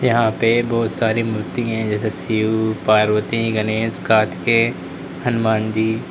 यहां पे बहुत सारी मूर्ति है जैसे शिव पार्वती गनेश कार्तिकेय हनुमान जी।